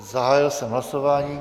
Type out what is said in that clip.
Zahájil jsem hlasování.